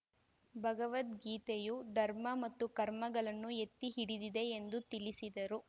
ಭಗವದ್ಗೀತೆಯು ಧರ್ಮ ಮತ್ತು ಕರ್ಮಗಳನ್ನು ಎತ್ತಿಹಿಡಿದಿದೆ ಎಂದು ತಿಳಿಸಿದರು